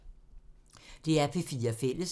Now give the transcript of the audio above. DR P4 Fælles